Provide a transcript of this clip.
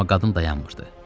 Amma qadın dayanmırdı.